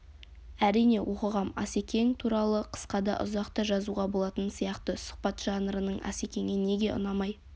әрине оқығам асекең туралы қысқа да ұзақ та жазуға болатын сияқты сұхбат жанрының асекеңе неге ұнамай